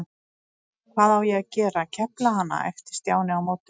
Hvað á ég að gera, kefla hana? æpti Stjáni á móti.